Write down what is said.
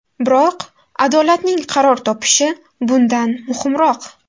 Biroq adolatning qaror topishi bundan muhimroq.